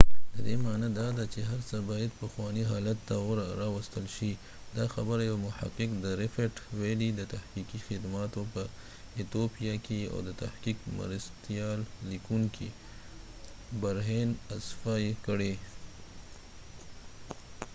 ددې معنی داده چې هر څه باید پخوانی حالت ته راوستل شي، دا خبره یو محقق د ریفټ ويلی د تحقیقی خدماتو په ایتیوپیا کې او د تحقیق مرستیال لیکونکې برهین افساوberhane asfaw کړي